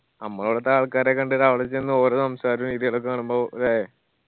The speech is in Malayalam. അമ്മളവിടുത്തെ ആൾക്കാരെ കണ്ട് അവടെ ചെന്ന് ഓറ സംസാര രീതി ഒക്കെ കാണുമ്പോ അല്ലെ